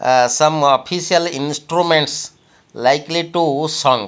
ah some official instruments likely to sung.